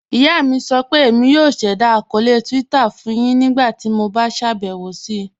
Iyà mi sọ pé Émi yóò ṣẹda akọọlẹ Twitter fun yin ńígbàtí mó bá ṣabẹwo sí.